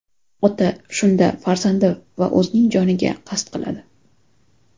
Ota shunda farzandi va o‘zining joniga qasd qiladi.